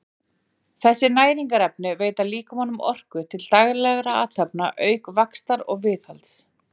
Þessi næringarefni veita líkamanum orku til daglegra athafna auk vaxtar og viðhalds.